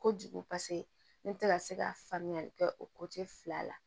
Kojugu paseke ne tɛ ka se ka faamuyali kɛ o fila la